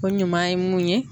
O ɲuman ye mun ye